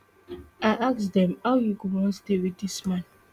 i ask dem how you go wan stay wit dis man